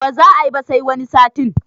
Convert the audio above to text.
Ba za ayi ba sai wani satin